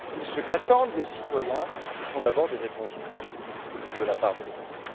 Ce qu'attendent les citoyens, ce sont d'abord des réponses politiques de la part de l'Europe.